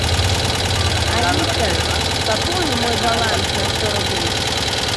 алиса пополни мой баланс на сто рублей